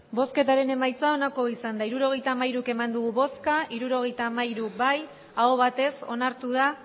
hirurogeita hamairu eman dugu bozka hirurogeita hamairu bai aho batez onartu da